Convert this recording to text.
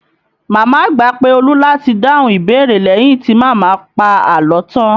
Màmá àgbà pé Olu láti dáhùn ìbéèrè leyin ti màmá pa àlọ́ tan